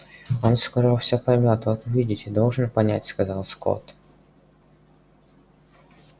он скоро все поймёт вот увидите должен понять сказал скотт